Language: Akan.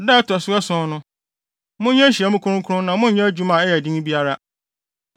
Da a ɛto so ason no, monyɛ nhyiamu kronkron na monnyɛ adwuma a ɛyɛ den biara.